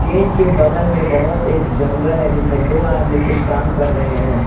Gate के बगल में बहोत एक जंगल है जिसमें दो आदमी कुछ काम कर रहे हैं।